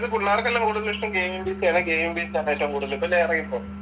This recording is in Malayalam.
ഇത് പിള്ളാർക്കെല്ലാം കൂടുതൽ ഇഷ്ട്ടം ഗമെയിങ് PC ആണ്. ഗമെയിങ് PC ആണ് ഏറ്റവും കൂടുതൽ